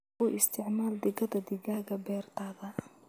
U isticmaal digada digaagga beertaada.